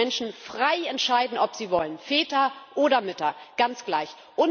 Lassen Sie die Menschen frei entscheiden, ob sie wollen, Väter oder Mütter ganz gleich.